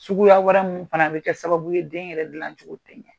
Suguya wɛrɛ mun fana bɛ kɛ sababu ye den yɛrɛ gilan cogo tɛ ɲɛ.